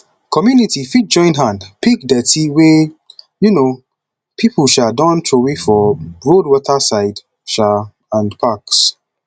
community fit join hand pick dirty wey um pipo um don trowey for road water side um and parks